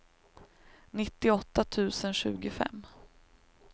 nittioåtta tusen tjugofem